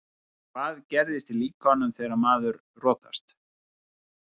Hvað gerist í líkamanum þegar maður rotast?